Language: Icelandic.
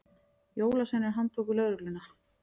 Jólasveinar handtóku lögregluna